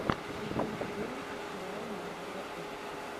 сезон четырнадцать сериала мастера ужасов